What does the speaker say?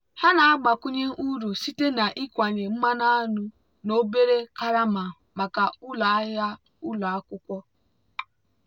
ha na-agbakwunye uru site na ịkwanye mmanụ aṅụ na obere karama maka ụlọ ahịa ụlọ akwụkwọ.